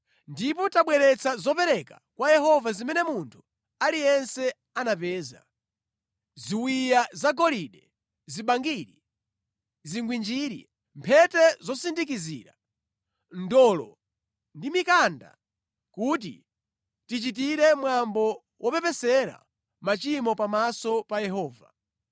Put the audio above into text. Ndipo tabweretsa zopereka kwa Yehova zimene munthu aliyense anapeza: ziwiya zagolide, zibangiri, zigwinjiri, mphete zosindikizira, ndolo ndi mikanda kuti tichitire mwambo wopepesera machimo pamaso pa Yehova.”